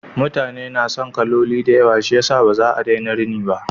Mutane na son kaloli da yawa shiyasa ba za a daina rini ba.